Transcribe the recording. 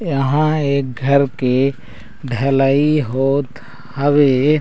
यहाँ एक घर के ढलाई होत हावे।